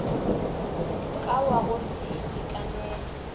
ka wa go se itekanele